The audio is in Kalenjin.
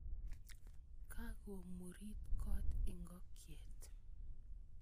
Kakomurit kot ikokyet.